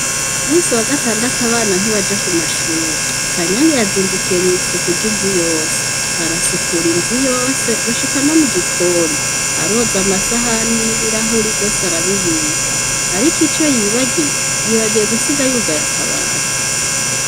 Umusi wa gatandata abana ntibaja ku mashuri kanyanga yazindukiye mw'isuku ry'inzu yose arasukura inzu yose gushika no mu gikoni aroza amasahani n'ibirahuri vyose arabibika, ariko ico yibagiye yibagiye gusiga yugaye akabati.